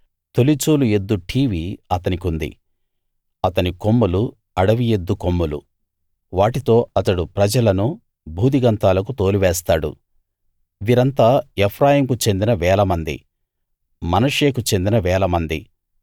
తొలిచూలు ఎద్దు ఠీవి అతనికుంది అతని కొమ్ములు అడవి ఎద్దు కొమ్ములు వాటితో అతడు ప్రజలను భూదిగంతాలకు తోలివేస్తాడు వీరంతా ఎఫ్రాయింకు చెందిన వేలమంది మనష్షేకు చెందిన వేలమంది